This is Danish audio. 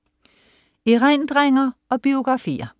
Erindringer og biografier